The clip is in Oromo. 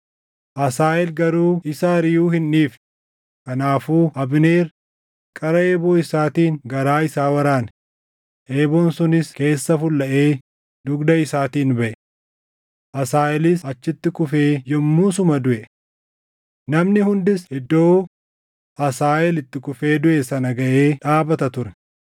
Asaaheel garuu isa ariʼuu hin dhiifne; kanaafuu Abneer qara eeboo isaatiin garaa isaa waraane; eeboon sunis keessa fullaʼee dugda isaatiin baʼe. Asaaheelis achitti kufee yommuu suma duʼe. Namni hundis iddoo Asaaheel itti kufee duʼe sana gaʼee dhaabata ture.